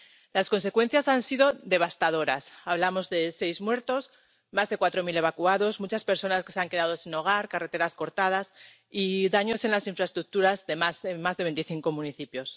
Las consecuencias han sido devastadoras hablamos de seis muertos, más de cuatro mil evacuados, muchas personas que se han quedado sin hogar, carreteras cortadas y daños en las infraestructuras en más de veinticinco municipios.